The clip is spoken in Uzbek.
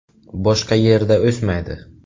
Boshqa yerda o‘smaydi.